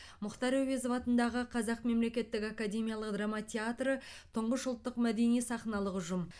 мұхтар әуезов атындағы қазақ мемлекеттік академиялық драма театры тұңғыш ұлттық мәдени сахналық ұжым